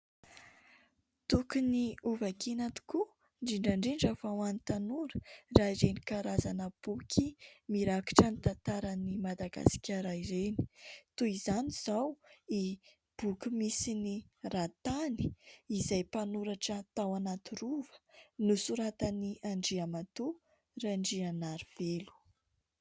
Tokony ho vakiana tokoa indrindra indrindra fa ho an'ny tanora raha ireny karazana boky mirakitra ny tantaran'i Madagasikara ireny ; toy izany izao ity boky misy ny "Ratany" izay mpanoratra tao anaty rova nosoratan'i Andriamatoa Randrianarivelo.